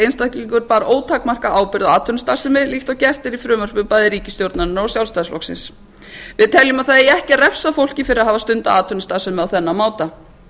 einstaklingur bar ótakmarkaða ábyrgð á atvinnustarfsemi líkt og gert er í frumvörpum bæði ríkisstjórnarinnar og sjálfstæðisflokksins við teljum að það eigi ekki að refsa fólki fyrir að hafa stundað atvinnustarfsemi á þennan máta